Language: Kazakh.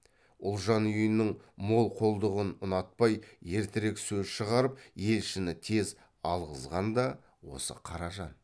ұлжан үйінің молқолдығын ұнатпай ертерек сөз шығарып елшіні тез алғызған да осы қаражан